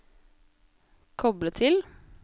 koble til